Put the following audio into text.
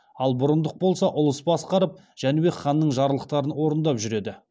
ал бұрындық болса ұлыс басқарып жәнібек ханның жарлықтарын орындап жүреді